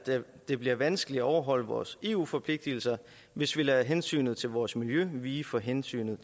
det bliver vanskeligt at overholde vores eu forpligtelser hvis vi lader hensynet til vores miljø vige for hensynet